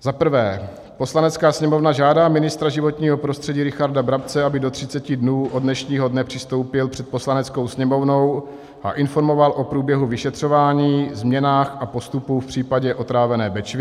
Za prvé, Poslanecká sněmovna žádá ministra životního prostředí Richarda Brabce, aby do 30 dnů od dnešního dne přistoupil před Poslaneckou sněmovnou a informoval o průběhu vyšetřování, změnách a postupu v případě otrávené Bečvy.